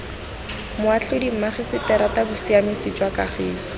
moatlhodi mmagiseterata bosiamisi jwa kagiso